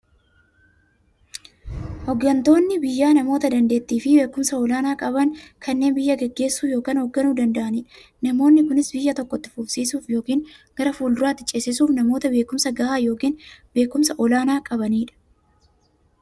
Hooggantoonni biyyaa namoota daanteettiifi beekumsa olaanaa qaban, kanneen biyya gaggeessuu yookiin hoogganuu danda'aniidha. Namoonni kunis, biyya tokko itti fufsiisuuf yookiin gara fuulduraatti ceesisuuf, namoota beekumsa gahaa yookiin beekumsa olaanaa qabaniidha.